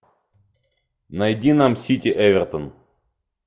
найди нам сити эвертон